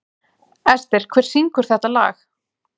Ester, hver syngur þetta lag?